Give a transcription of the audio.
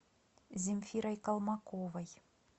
земфирой колмаковой